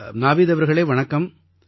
நாவீத் அவர்களே வணக்கம்